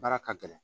Baara ka gɛlɛn